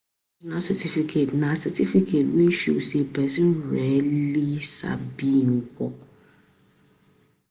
na certificate na certificate wey show sey person really sabi im work